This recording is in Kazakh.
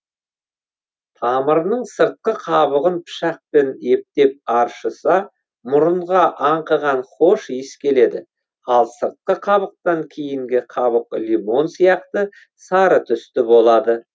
тамырының сыртқы қабығын пышақпен ептеп аршыса мұрынға аңқыған хош иіс келеді ал сыртқы қабықтан кейінгі қабық лимон сияқты сары түсті болады